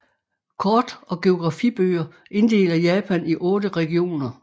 Kort og geografibøger inddeler Japan i otte regioner